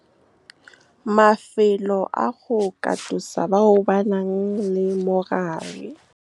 Mafelo a go katosa bao ba nang le mogare. Mafelo a go katosa bao ba nang le mogare.